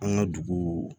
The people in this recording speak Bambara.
An ka dugu